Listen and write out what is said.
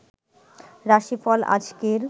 রাশি ফল আজকের